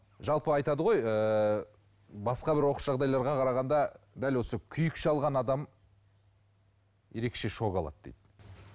жалпы айтады ғой ыыы басқа бір оқыс жағдайларға қарағанда дәл осы күйік шалған адам ерекше шок алады дейді